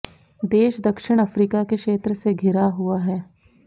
देश दक्षिण अफ्रीका के क्षेत्र से घिरा हुआ है